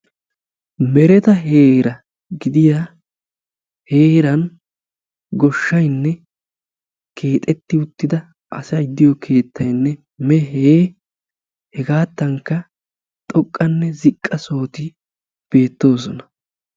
Mereta heera gidiya heeran goshshaynne keexetti uttida asay de'iyo keettaynne meehe hegaatankka xoqqanne ziqqa sohoti beettoosona.